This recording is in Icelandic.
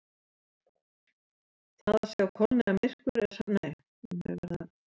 Það að sjá kolniðamyrkur er samkvæmt þessu það sama og að sjá ekkert.